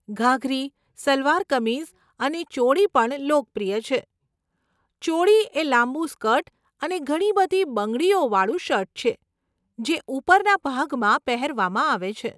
ઘાઘરી, સલવાર કમીઝ અને ચોળી પણ લોકપ્રિય છે. ચોળી એ લાંબુ સ્કર્ટ અને ઘણી બધી બંગડીઓવાળું શર્ટ છે, જે ઉપરના ભાગમાં પહેરવામાં આવે છે.